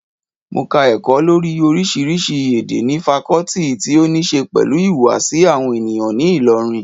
Mo ka ẹ̀kọ́ lórii oríṣiríṣi èdè ní fakọọti ti óníse pẹ̀lú ìhùwàsí àwọn ènìyàn ní ilọ́rin